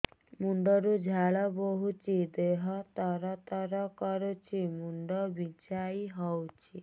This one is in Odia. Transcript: ମୁଣ୍ଡ ରୁ ଝାଳ ବହୁଛି ଦେହ ତର ତର କରୁଛି ମୁଣ୍ଡ ବିଞ୍ଛାଇ ହଉଛି